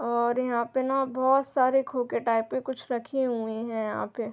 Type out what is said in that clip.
और यहाँ पे ना बोहोत सारे खोके टाइप के कुछ रखे हुए हैं यहाँ पे ।